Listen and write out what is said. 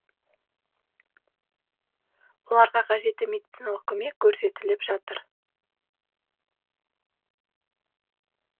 оларға қажетті медициналық көмек көрсетіліп жатыр